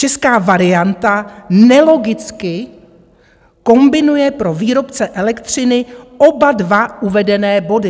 Česká varianta nelogicky kombinuje pro výrobce elektřiny oba dva uvedené body."